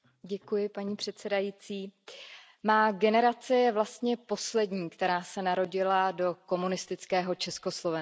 Paní předsedající, má generace je vlastně poslední, která se narodila do komunistického Československa.